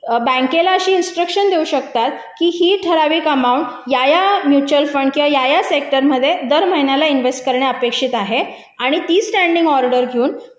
बँकेला असे इन्स्ट्रक्शन देऊ शकता की ही ठराविक अमाऊंट या या म्युच्युअल फंड किंवा या या सेक्टर मध्ये दर महिन्याला इन्व्हेस्ट करणे अपेक्षित आहे आणि ती स्टॅंडिंग ऑर्डर घेऊन